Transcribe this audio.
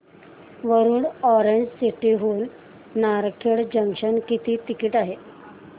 Warud orange city हून Narkhed junction किती ticket आहे